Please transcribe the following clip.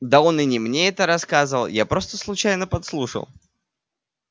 да он и не мне это рассказывал я просто случайно подслушал